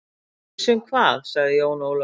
Viss um hvað, sagði Jón Ólafur forvitinn.